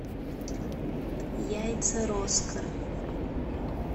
яйца роскар